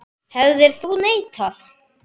Hefðir þú neitað?